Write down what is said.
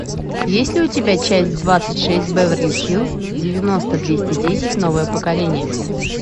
есть ли у тебя часть двадцать шесть беверли хиллз девяносто двести десять новое поколение